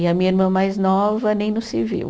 E a minha irmã mais nova, nem no civil.